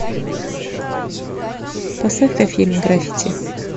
поставь ка фильм граффити